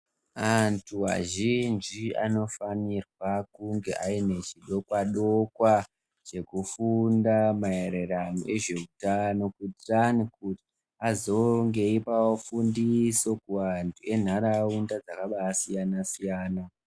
Antu azhinji anofanirwa kunge ainechodokwa-dokwa chekufunda maererano ezveutano kuti azonge eipawo fundiso kuantu enharaunda dzakabasiyana- siyana.